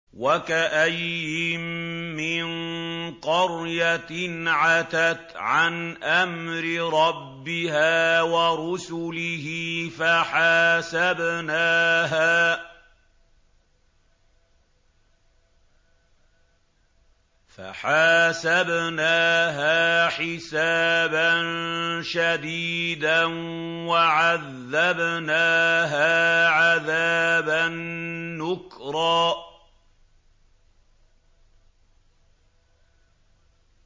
وَكَأَيِّن مِّن قَرْيَةٍ عَتَتْ عَنْ أَمْرِ رَبِّهَا وَرُسُلِهِ فَحَاسَبْنَاهَا حِسَابًا شَدِيدًا وَعَذَّبْنَاهَا عَذَابًا نُّكْرًا